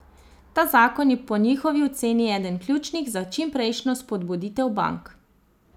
Ta zakon je po njihovi oceni eden ključnih za čimprejšnjo spodbuditev bank.